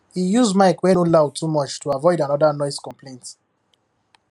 he use mic wey no loud too much to avoid another noise complaint